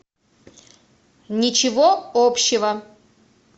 ничего общего